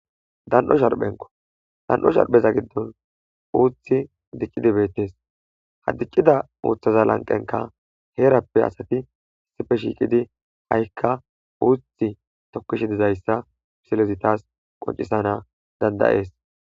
Dan'o sharphenko dan'o sharpheza giddon uuthi diqqidi beettes ha diqcida uuthaza lanqenka heerappe asati issife shiiqidi ha7ikka uuthi tokkishi dizayssa psilezitas qoncisana dandayees.